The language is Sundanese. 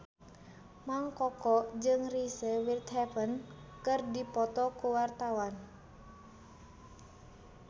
Mang Koko jeung Reese Witherspoon keur dipoto ku wartawan